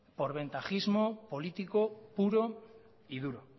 por ventajismo político puro y duro